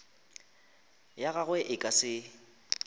ya gagwe e ka se